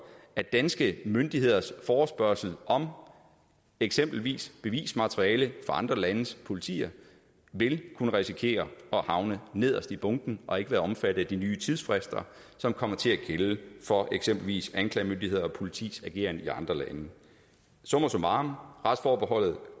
at danske myndigheders forespørgsel om eksempelvis bevismateriale fra andre landes politi vil kunne risikere at havne nederst i bunken og ikke være omfattet af de nye tidsfrister som kommer til at gælde for eksempelvis anklagemyndighed og politis ageren i andre lande summa summarum retsforbeholdet